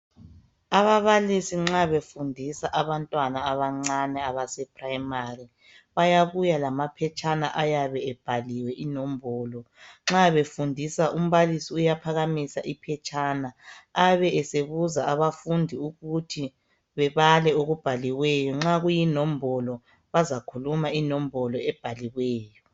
Ababalisi nxa befundisa abantwana abancane abase primari bayabuya lamaphetshana ayabe ebhaliwe inombolo nxa befundisa umbalisi uyaphakamisa iphetshana abe esebuza abafundi ukuthi bebale okubhaliweyo nxa kuyinombolo bazakhuluma inombolo ebhaliweyo